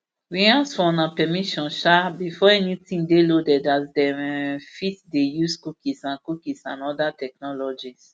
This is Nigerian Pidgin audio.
we ask for una permission um before anytin dey loaded as dem um fit dey use cookies and cookies and oda technologies